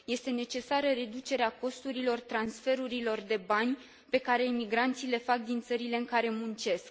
Este necesară reducerea costurilor transferurilor de bani pe care emigranții le fac din țările în care muncesc.